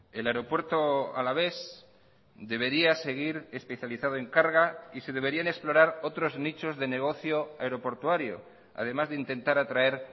el aeropuerto alavés debería seguir especializado en carga y se deberían explorar otros nichos de negocio aeroportuario además de intentar atraer